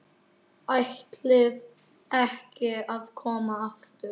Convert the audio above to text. ÆTLIÐI EKKI AÐ KOMA AFTUR.